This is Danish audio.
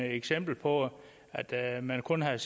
et eksempel på at man kun havde